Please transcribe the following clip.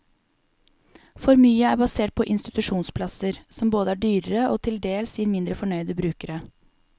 For mye er basert på institusjonsplasser, som både er dyrere og til dels gir mindre fornøyde brukere.